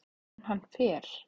En hann fer.